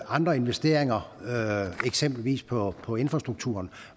andre investeringer eksempelvis på på infrastrukturen